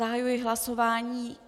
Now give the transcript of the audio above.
Zahajuji hlasování.